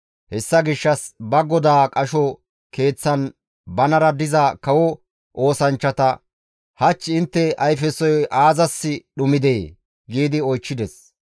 Hessa gishshas ba godaa qasho keeththan banara diza kawo oosanchchata, «Hach intte ayfesoy aazas dhumidee?» gi oychchides.